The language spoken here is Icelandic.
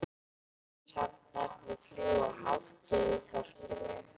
Hrafnarnir fljúga hátt yfir þorpinu.